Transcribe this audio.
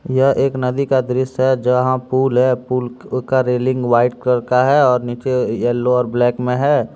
यह एक नदी का दृश्य है जहां पूल है पूल का रेलिंग व्हाइट कलर का है और नीचे येलो और ब्लैक में है।